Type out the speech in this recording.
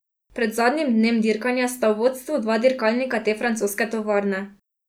Pred zadnjim dnem dirkanja sta v vodstvu dva dirkalnika te francoske tovarne.